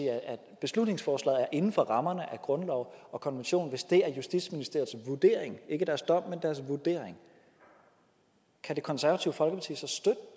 at beslutningsforslaget er inden for rammerne af grundloven og konventionen hvis det er justitsministeriets vurdering ikke deres dom men deres vurdering kan det konservative folkeparti så